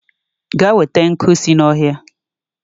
Gaa na-enweta nkwu si n'ọhịa!